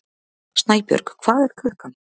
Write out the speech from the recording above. Snæbjörg, hvað er klukkan?